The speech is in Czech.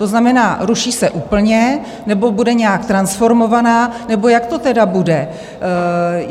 To znamená ruší se úplně, nebo bude nějak transformovaná, nebo jak to tedy bude?